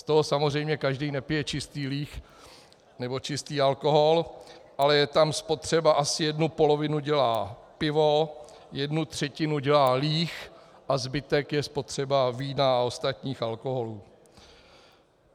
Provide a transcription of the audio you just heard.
Z toho samozřejmě každý nepije čistý líh nebo čistý alkohol, ale je tam spotřeba - asi jednu polovinu dělá pivo, jednu třetinu dělá líh a zbytek je spotřeba vína a ostatních alkoholů.